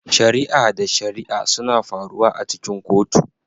Shari'a da shari'a suna faruwa a cikin kotu